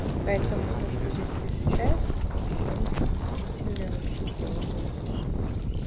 поэтому-то то что здесь это изучают это так бы довольно таки удивительное вообще дела нонсенс так сказать